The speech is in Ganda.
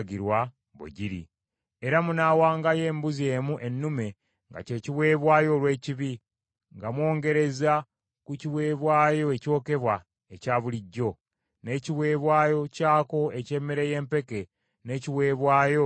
Era munaawangayo embuzi emu ennume nga kye kiweebwayo olw’ekibi, nga mwongerereza ku kiweebwayo ekyokebwa ekya bulijjo, n’ekiweebwayo kyako eky’emmere y’empeke n’ekiweebwayo ekyokunywa.